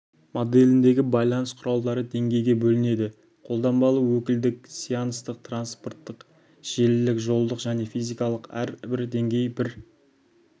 моделіндегі байланыс құралдары деңгейге бөлінеді қолданбалы өкілдік сеанстық транспорттық желілік жолдық және физикалық әрбір деңгей бір